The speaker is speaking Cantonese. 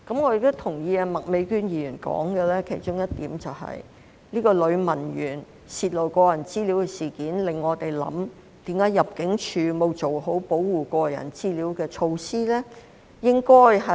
我亦同意麥美娟議員提到的其中一點，就是這名女文員泄露個人資料的事件，令我們思考為何入境處沒有做好保護個人資料的措施呢？